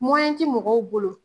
ti mɔgɔw bolo.